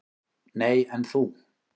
"""Nei, en þú?"""